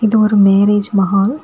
இது ஒரு மேரேஜ் மஹால் .